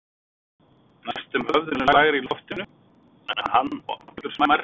Næstum höfðinu lægri í loftinu en hann og allur smærri í sniðum.